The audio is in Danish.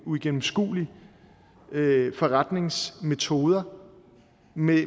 uigennemskuelige forretningsmetoder med